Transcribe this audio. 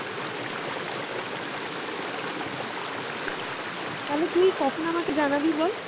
তালে তুই কখন আমাকে জানাবি বল?